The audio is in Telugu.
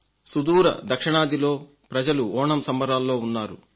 సుదూర దక్షిణాదిలో ప్రజలు ఓణం సంబరాల్లో మునిగి ఉన్నారు